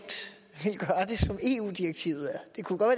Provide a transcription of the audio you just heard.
som eu direktivet er det kunne godt